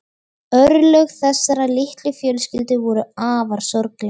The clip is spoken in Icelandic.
Örlög þessarar litlu fjölskyldu voru afar sorgleg.